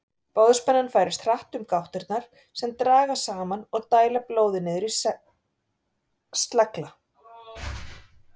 Boðspennan færist hratt um gáttirnar sem dragast saman og dæla blóði niður í slegla.